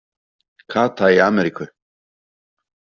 Kata í Ameríku